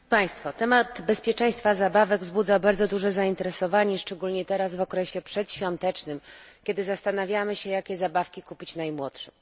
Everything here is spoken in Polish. Kwestia bezpieczeństwa zabawek wzbudza bardzo duże zainteresowanie szczególnie teraz w okresie przedświątecznym, kiedy zastanawiamy się jakie zabawki kupić najmłodszym.